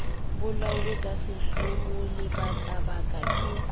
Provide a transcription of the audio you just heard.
bolauwe ka sehloho lebakabaka ke